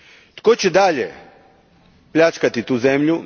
Tko će dalje pljačkati tu zemlju?